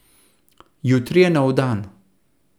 Jutri je nov dan.